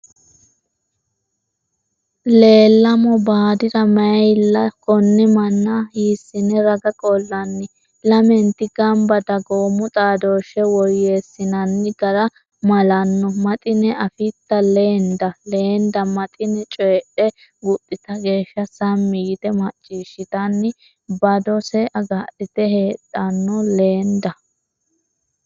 Leellamo baadiri mayilla Konne manna hiissine raga qollanni? Lamenti gamba dagoomu xaadooshshe woyyeessinanni gara malanno Maxine Afitta Leenda? Leenda Maxine coydhe guxxita geeshsha sammi yite macciishshitanni badose agadhite haadhanno Leenda?